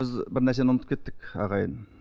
біз бір нәрсені ұмытып кеттік ағайын